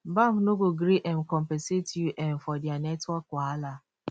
bank no go gree um compensate yu um for dia network wahala